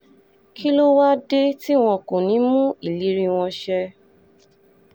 kí ló wáá dé tí wọn kò ní í mú ìlérí wọn ṣẹ